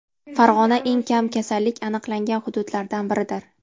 Farg‘ona eng kam kasallik aniqlangan hududlardan biridir.